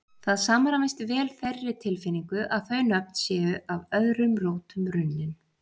Það samræmist vel þeirri tilfinningu að þau nöfn séu af öðrum rótum runnin.